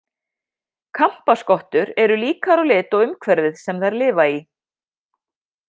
Kampaskottur eru líkar á lit og umhverfið sem þær lifa í.